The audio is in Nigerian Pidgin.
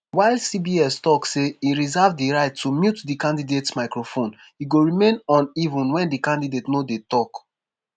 while cbs tok say e reserve di right to mute di candidates microphones e go remain on even wen di candidate no dey tok.